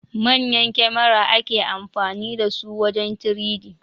Manyan kamera ake amfani dasu wajen 3D